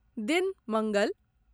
दिन मंगल